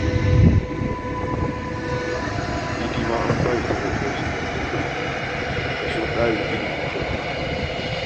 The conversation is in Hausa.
Idi ma an ba shi takardar shiga jami'a a ƙarƙashin tsarin ilimi kyauta